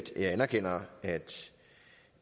jeg anerkender